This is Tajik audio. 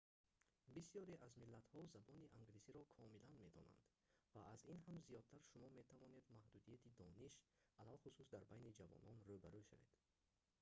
бисёре аз миллатҳо забони англисиро комилан медонанд ва аз ин ҳам зиёдтар шумо метавонед маҳдудияти дониш алалхусус дар байни ҷавонон рӯ ба рӯ шавед